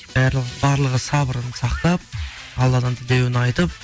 барлығы сабырын сақтап алладан тілеуін айтып